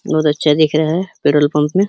बोहोत दिख रहा है। पेट्रोल पम्प में --